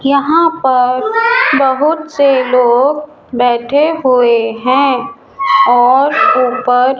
यहाँ पर बहोत से लोग बैठे हुए हैं और ऊपर --